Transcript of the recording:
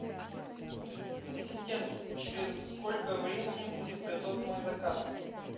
ассистент через сколько времени будет готов мой заказ